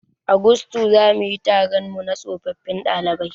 A gusto zamuyi taronmu na tsofaffin ɗalibai